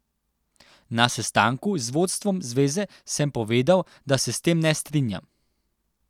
Na sestanku z vodstvom zveze sem povedal, da se s tem ne strinjam.